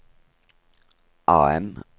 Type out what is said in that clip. AM